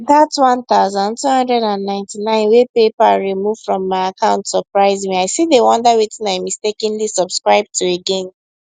that 1299 wey paypal remove from my account surprise me i still dey wonder wetin i mistakenly subscribe to again